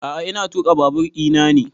A'a ina tuƙa babur ina ne